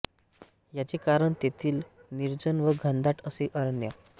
याचे कारण तेथील निर्जन व घनदाट असे अरण्य